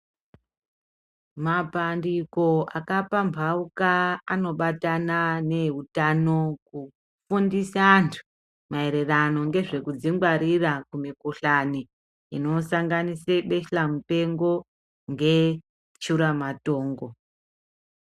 Mapandiko akapamhauka anobatana neeutano kufundisa antu maererano ngezvekudzingwarira kumikuhlani inosanganise besa mupengo ngeshuramatongo.